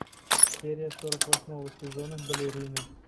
серия сорок восьмого сезона балерины